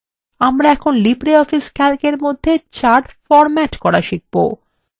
আমরা এখন libreoffice calcএর মধ্যে charts ফরম্যাট করা শিখবো